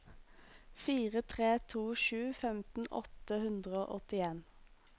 fire tre to sju femten åtte hundre og åttien